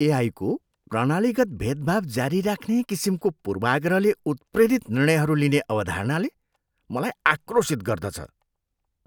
एआईको प्रणालीगत भेदभाव जारी राख्ने किसिमको पूर्वाग्रहले उत्प्रेरित निर्णयहरू लिने अवधारणाले मलाई आक्रोशित गर्दछ।